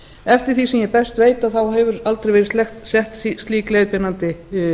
eftir því sem ég best veit hefur aldrei verið sett slík leiðbeinandi